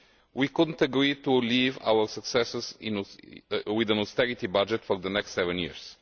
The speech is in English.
We could not agree to leave our successors with an austerity budget for the next seven years.